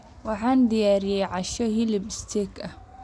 Waxaan diyaariyey casho hilib steak ah.